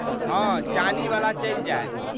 हँ, चानीवला चलि जायत।